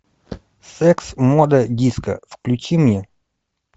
секс мода диско включи мне